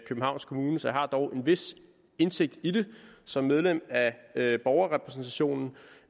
københavns kommune så jeg har dog en vis indsigt i det som medlem af borgerrepræsentationen